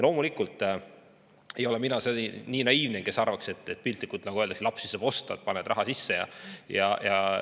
Loomulikult ei ole ma nii naiivne, et arvaks, piltlikult öeldes, et lapsi saab osta: paned raha toetustesse ja kohe tuleb.